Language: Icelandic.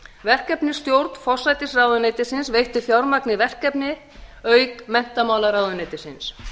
verkefnisstjórn forsætisráðuneytisins veitti fjármagni í verkefnið auk menntamálaráðuneytisins